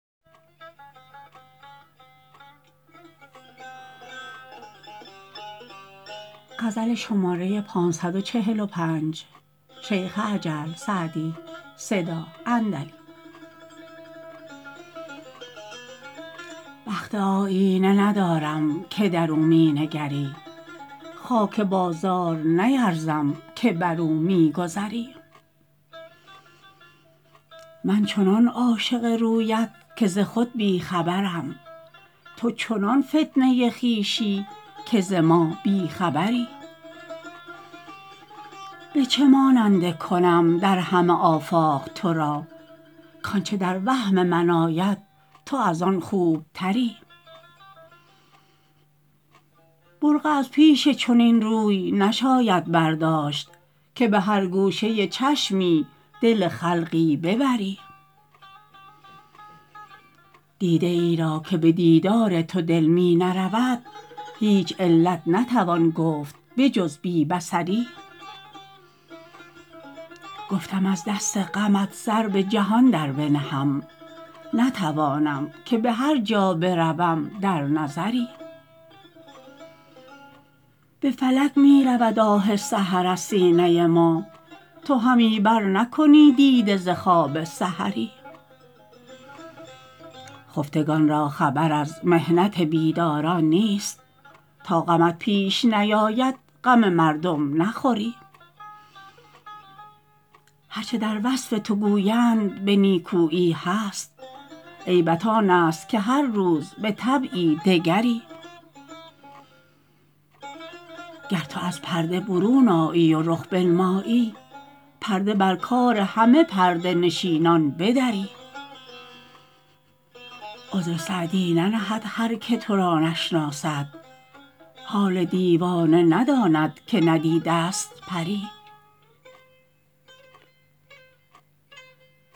بخت آیینه ندارم که در او می نگری خاک بازار نیرزم که بر او می گذری من چنان عاشق رویت که ز خود بی خبرم تو چنان فتنه خویشی که ز ما بی خبری به چه ماننده کنم در همه آفاق تو را کآنچه در وهم من آید تو از آن خوبتری برقع از پیش چنین روی نشاید برداشت که به هر گوشه چشمی دل خلقی ببری دیده ای را که به دیدار تو دل می نرود هیچ علت نتوان گفت به جز بی بصری گفتم از دست غمت سر به جهان در بنهم نتوانم که به هر جا بروم در نظری به فلک می رود آه سحر از سینه ما تو همی برنکنی دیده ز خواب سحری خفتگان را خبر از محنت بیداران نیست تا غمت پیش نیاید غم مردم نخوری هر چه در وصف تو گویند به نیکویی هست عیبت آن است که هر روز به طبعی دگری گر تو از پرده برون آیی و رخ بنمایی پرده بر کار همه پرده نشینان بدری عذر سعدی ننهد هر که تو را نشناسد حال دیوانه نداند که ندیده ست پری